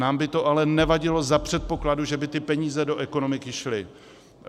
Nám by to ale nevadilo za předpokladu, že by ty peníze do ekonomiky šly.